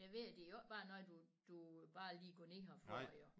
Jeg ved det er jo ikke bare noget du du bare lige går ned og får jo